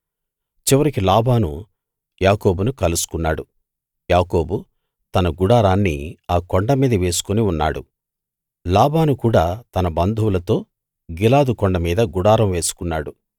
చివరికి లాబాను యాకోబును కలుసుకున్నాడు యాకోబు తన గుడారాన్ని ఆ కొండ మీద వేసుకుని ఉన్నాడు లాబాను కూడా తన బంధువులతో గిలాదు కొండమీద గుడారం వేసుకున్నాడు